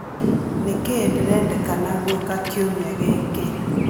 nĩ kĩĩ ndĩrendekana gwĩka kiumia gĩkĩ